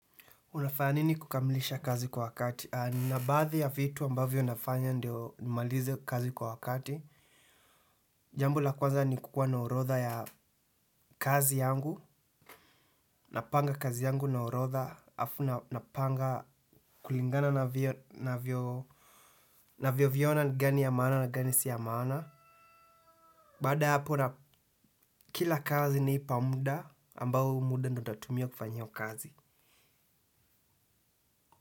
Unafanya nini kukamilisha kazi kwa wakati? Nina baadhi ya vitu ambavyo nafanya ndio nimalize kazi kwa wakati. Jambo la kwanza ni kukua na orotha ya kazi yangu. Napanga kazi yangu na orotha afu napanga kulingana navyo viona gani ya maana na gani sio ya maana. Baada ya hapo na kila kazi naipa muda ambao huu muda ndo natumia kufanya hio kazi.